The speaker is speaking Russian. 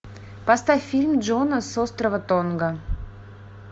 поставь фильм джона с острова тонга